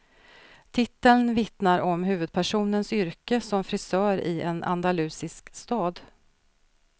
Titeln vittnar om huvudpersonens yrke som frisör i en andalusisk stad.